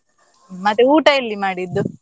ಮತ್ತೆ ಊಟ ಎಲ್ಲಿ ಮಾಡಿದ್ದು?